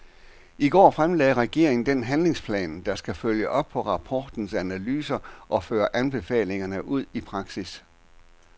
I går fremlagde regeringen den handlingsplan, der skal følge op på rapportens analyser og føre anbefalingerne ud i praksis.